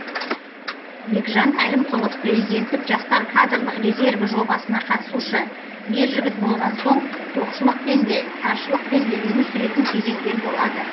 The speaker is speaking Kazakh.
бекжан әлімқұлов президенттік жастар кадрлық резерві жобасына қатысушы ер жігіт болған соң тоқшылықпен де таршылықпен де өмір сүретін кезеңдер болады